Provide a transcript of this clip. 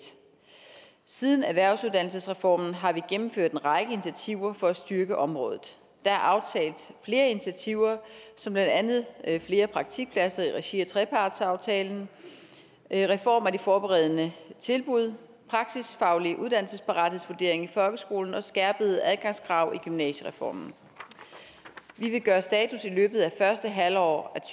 siden erhvervsuddannelsesreformen har vi gennemført en række initiativer for at styrke området der er aftalt flere initiativer som blandt andet flere praktikpladser i regi af trepartsaftalen en reform af de forberedende tilbud en praksisfaglig uddannelsesparathedsvurdering i folkeskolen og skærpede adgangskrav i gymnasiereformen vi vil gøre status i løbet af første halvår